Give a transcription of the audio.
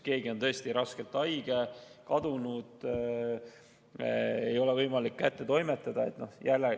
Keegi on tõesti raskelt haige või kadunud, ei ole võimalik meili kättetoimetatuks lugeda.